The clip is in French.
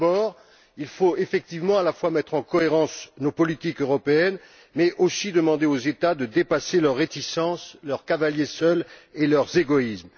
D'abord, il faut, effectivement, à la fois mettre en cohérence nos politiques européennes et demander aux États de dépasser leurs réticences, leur politique de cavalier seul et leurs égoïsmes.